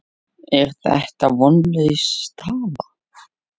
Er þetta vonlaus staða?